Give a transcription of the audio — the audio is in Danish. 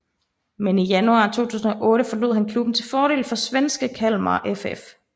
Men i januar 2008 forlod han klubben til fordel for svenske Kalmar FF